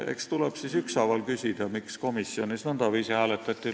Eks tuleb siis ükshaaval küsida, miks komisjonis nõndaviisi hääletati.